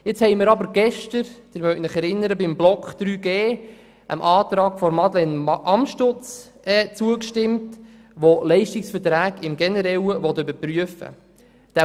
Nun haben wir gestern – Sie erinnern sich – beim Themenbereich 3.g dem Antrag von Madeleine Amstutz zugestimmt, welcher Leistungsverträge generell überprüfen will.